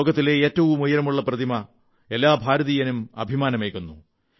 ലോകത്തിലെ ഏറ്റവും ഉയരമുള്ള പ്രതിമ എല്ലാ ഭാരതീയനും അഭിമാനമേകുന്നു